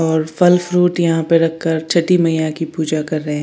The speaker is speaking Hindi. और फल फ्रूट यहां पर रख कर छटी मया की पूजा कर रहे है।